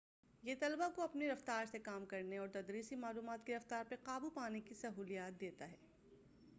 یہ طلباء کو اپنی رفتار سے کام کرنے اور تدریسی معلومات کی رفتار پر قابو پانے کی سہولت دیتا ہے